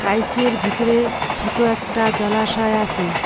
আইসিএর ভিতরে সোটো একটা জলাশয় আসে।